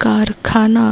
कारखाना